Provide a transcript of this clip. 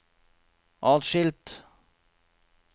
atskilt